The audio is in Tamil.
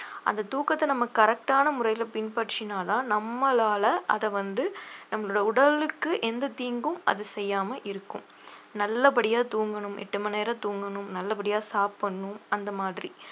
அந்த தூக்கத்தை நம்ம correct ஆன முறையில பின்பற்றினாதான் நம்மளால அதை வந்து நம்மளோட உடலுக்கு எந்த தீங்கும் அது செய்யாம இருக்கும் நல்லபடியா தூங்கணும் எட்டு மணி நேரம் தூங்கணும் நல்லபடியா சாப்பிடணும் அந்த மாதிரி